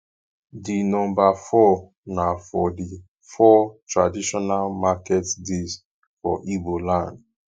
di nomba four na for di four traditional market days for igbo land